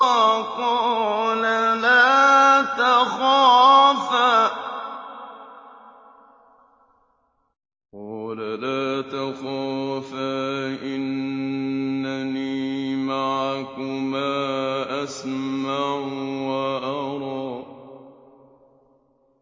قَالَ لَا تَخَافَا ۖ إِنَّنِي مَعَكُمَا أَسْمَعُ وَأَرَىٰ